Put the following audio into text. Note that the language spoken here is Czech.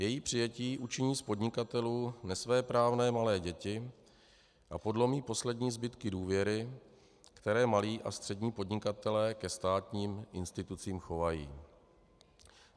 Její přijetí učiní z podnikatelů nesvéprávné malé děti a podlomí poslední zbytky důvěry, které malí a střední podnikatelé ke státním institucím chovají.